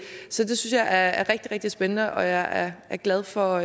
synes jeg er rigtig rigtig spændende og jeg er glad for